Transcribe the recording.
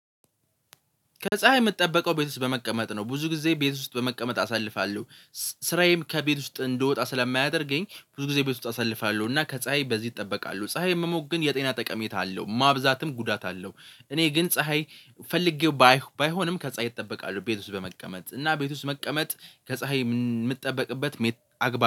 ከፀሀይ የምትጠበቀው ቤት ውስጥ በመቀመጥ ነው ብዙ ጊዜ ቤት ውስጥ በመቀመጥ አሳልፋለሁ። ስራዬም ከቤት ውስጥ እንድወጣ ስለማያደርገኝ ብዙ ጊዜ ቤት ውስጥ አሳልፋለሁ እና ከፀሀይ በዚህ እጠበቃለሁ ፀሀይ መሞቅ ግን የጤና ጠቀሜታ አለው ማብዛትም ጉዳት አለው። እኔ ግን ፀሀይ ፈልጌው ባይሆንም ከፀሀይ እጠበቃለሁ። ቤት ውስጥ በመቀመጥ እና ቤት ውስጥ መቀመጥ ከፀሀይ የምትጠበቅበት አግባብ